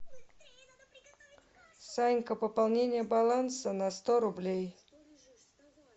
санька пополнение баланса на сто рублей